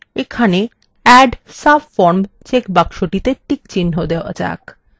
এখানে add subform চেকবক্সটিতে checkচিহ্ন দেওয়া যাক